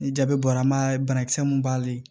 Ni jaabi bɔra n m'a ye banakisɛ mun b'ale